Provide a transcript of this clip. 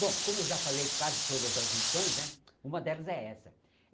Bom, como eu já falei quase todas as lições né, uma delas é essa.